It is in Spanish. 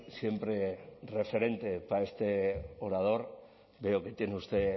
siempre referente para este orador veo que tiene usted